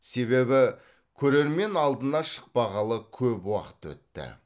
себебі көрермен алдына шықпағалы көп уақыт өтті